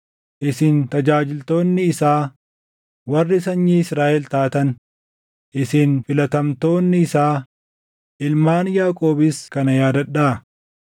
isin tajaajiltoonni isaa, warri sanyii Israaʼel taatan, isin filatamtoonni isaa, ilmaan Yaaqoobis kana yaadadhaa.